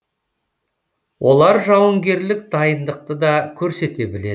олар жауынгерлік дайындықты да көрсете біледі